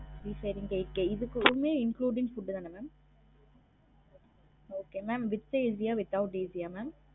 Three sharing eight K இதுக்குமே including food தானே mam okay mam with is a without AC ஆ mam?